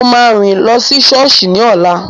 Mo máa rìn lọ sí sọ́ọ̀sì ní ọ̀la